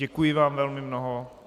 Děkuji vám velmi mnoho.